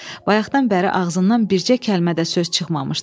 Bayaqdan bəri ağzından bircə kəlmə də söz çıxmamışdı.